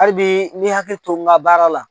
Hali bi n bɛ hakili to n ka baara la